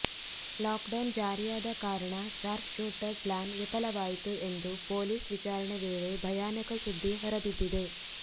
lockdown ಜಾರಿಯಾದ ಕಾರಣ sharp shooter plan ವಿಫಲವಾಯಿತು ಎಂದು ಪೊಲೀಸ್ ವಿಚಾರಣೆ ವೇಳೆ ಭಯಾನಕ ಸುದ್ದಿ ಹೊರಬಿದ್ದಿದೆ